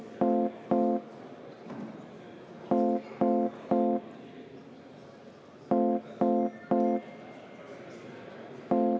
V a h e a e g